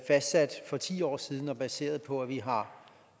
fastsat for ti år siden og baseret på at vi har